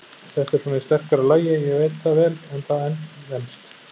Þetta er svona í sterkara lagi, ég veit það vel, en það venst.